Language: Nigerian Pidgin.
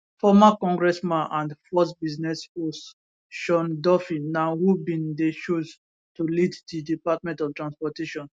former congressman and fox business host sean duffy na who bin dey chosen to lead di department of transportation